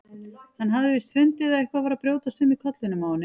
Hann hafði víst fundið að eitthvað var að brjótast um í kollinum á henni.